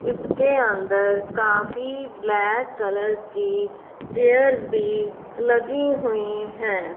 इसके अंदर काफ़ी ब्लैक कलरस की चेयरस भी लगी हुई है।